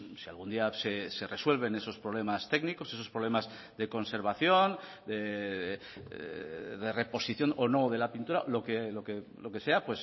si algún día se resuelven esos problemas técnicos esos problemas de conservación de reposición o no de la pintura lo que sea